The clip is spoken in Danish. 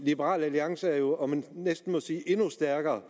liberal alliance er jo næsten endnu stærkere